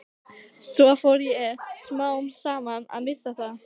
Svo fór ég smám saman að missa það.